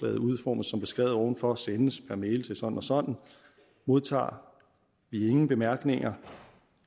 udformes som beskrevet ovenfor og sendes per mail til sådan og sådan modtager vi ingen bemærkninger